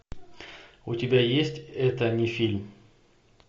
у тебя есть это не фильм